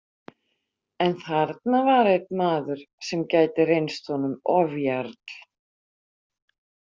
En þarna var einn maður sem gæti reynst honum ofjarl.